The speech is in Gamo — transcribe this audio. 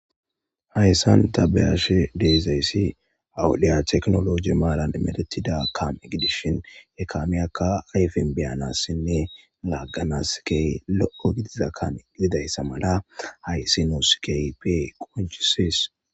hayssan tabeyashe deezayssi awudiya teknoloji maaran medetida kame gidishin ekamiyaka ayfen biyanassinne laagganaskey lo7o gidiza kame gididayssa mala haysinoskey pe qonchusis